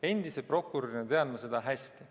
Endise prokurörina tean ma seda hästi.